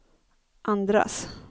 andras